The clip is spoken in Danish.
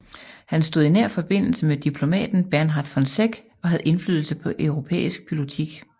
Han stod i nær forbindelse med diplomaten Bernhard von Zech og havde indflydelse på europæisk politik